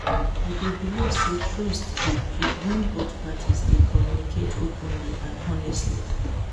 i dey believe say trust dey build when both parties dey communicate openly and honestly.